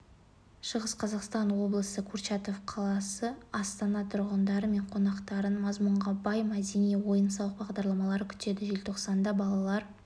шығыс қазақстан облысы курчатов қаласы астана тұрғындары мен қонақтарын мазмұнға бай мәдени-ойын-сауық бағдарламалары күтеді желтоқсанда балалар